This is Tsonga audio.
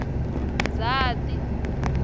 ndzhati